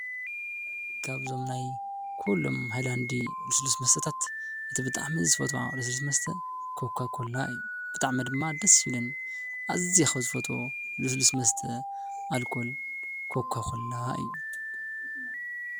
ካብዙም ናይ ኩሎም ሃይላንዲ ልስሉስ መስተታት እቲ ብጣዕሚ ዝፈትዎ ልስሉስ መስተ ኮካ ኮላ እዩ፡፡ ብጣዕሚ ድማ ደስ ይብለኒ ኣዝየ ካብ ዝፈትዎ ሉስሉስ መስተ ኣልኮል ኮካ ኮላ እዩ፡፡